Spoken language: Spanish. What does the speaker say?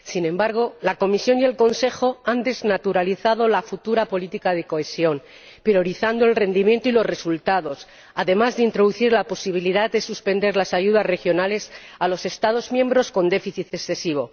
Sin embargo, la Comisión y el Consejo han desnaturalizado la futura política de cohesión, priorizando el rendimiento y los resultados, además de introducir la posibilidad de suspender las ayudas regionales a los Estados miembros con déficit excesivo.